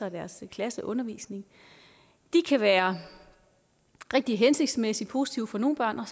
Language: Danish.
deres klasseundervisning kan være rigtig hensigtsmæssige positive for nogle børn og